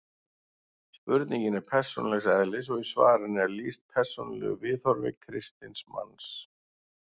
Spurningin er persónulegs eðlis og í svarinu er lýst persónulegu viðhorfi kristins manns.